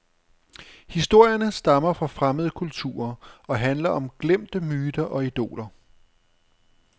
Historierne stammer fra fremmede kulturer og handler om glemte myter og idoler.